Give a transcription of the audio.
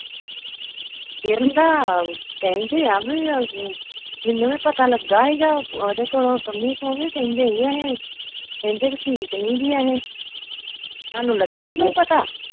ਕਿਰਨ ਦਾ, ਕਹਿੰਦੇ ਆ ਬਈ ਅਮ ਮੈਨੂੰ ਵੀ ਪਤਾ ਲੱਗਾ ਹੀਗਾ ਉਹਦੇ ਕੋਲੋ ਪੰਮੀ ਕੋ ਬਈ ਕਹਿੰਦੇ ਹੀ ਅਹੇ ਕਹਿੰਦੇ ਬਈ ਕਿ ਠੀਕ ਨੀਗੀ ਅਹੇ ਤੁਹਾਨੂੰ ਲੱਗਾ ਹੀ ਕੋਈ ਪਤਾ?